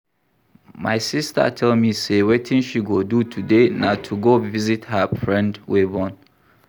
My sister tell me say wetin she go do today na to go visit her friend wey born